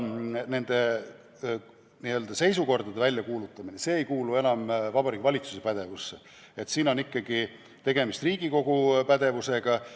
Nende nn seisukordade väljakuulutamine ei kuulu enam Vabariigi Valitsuse pädevusse, siin on ikkagi tegemist Riigikogu pädevusega.